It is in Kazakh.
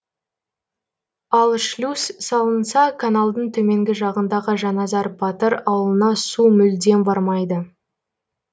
ал шлюз салынса каналдың төменгі жағындағы жаназар батыр ауылына су мүлдем бармайды